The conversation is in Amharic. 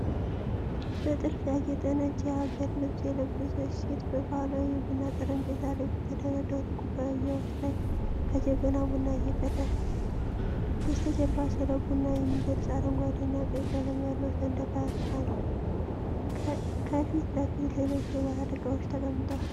በጥልፍ ያጌጠ ነጭ የሀገር ልብስ የለበሰች ሴት፣ በባህላዊ የቡና ጠረጴዛ ላይ በተደረደሩ ኩባያዎች ላይ ከጀበና ቡና እየቀዳች ነው። በስተጀርባ ስለ ቡና የሚገልጽ አረንጓዴ እና ቀይ ቀለም ያለው ሰንደቅ አለ። ከፊት ለፊት ሌሎች የባህል እቃዎች ተቀምጠዋል።